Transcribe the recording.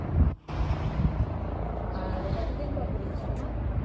হম আর কতদিন পর পরীক্ষা তোমার